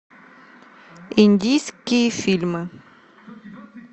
индийские фильмы